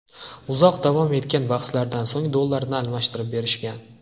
Uzoq davom etgan bahslardan so‘ng, dollarlarni almashtirib berishgan.